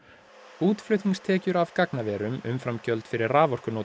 útflutningstekjur af gagnaverum umfram gjöld fyrir raforkunotkun